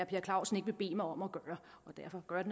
per clausen ikke vil bede mig om at gøre og derfor gør jeg